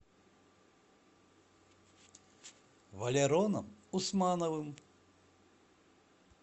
валероном усмановым